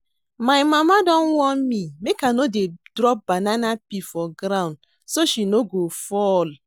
My mama don warn me make I no dey drop banana peel for ground so she no go fall